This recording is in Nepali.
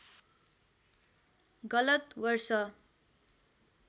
गलत वर्ष